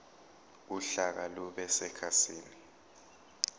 uhlaka lube sekhasini